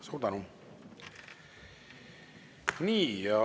Suur tänu!